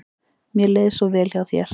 Mér leið svo vel hjá þér.